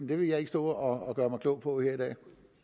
vil jeg ikke stå og gøre mig klog på her i dag